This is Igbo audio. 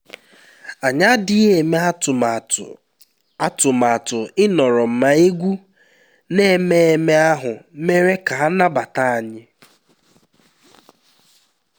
anyị adịghị eme atụmatụ atụmatụ ịnọrọ ma egwú na ememe ahụ mere ka a nabata anyị